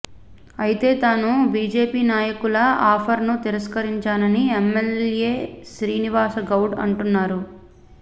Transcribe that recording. అయితే తాను బీజేపీ నాయకుల ఆఫర్ ను తిరస్కరించానని ఎమ్మెల్యే శ్రీనివాసగౌడ అంటున్నారు